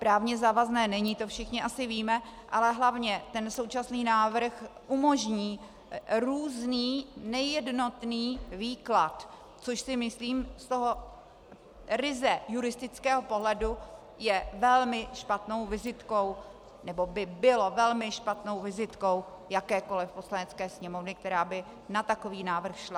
Právně závazné není, to všichni asi víme, ale hlavně ten současný návrh umožní různý nejednotný výklad, což si myslím z toho ryze juristického pohledu je velmi špatnou vizitkou nebo by bylo velmi špatnou vizitkou jakékoli Poslanecké sněmovny, která by na takový návrh šla.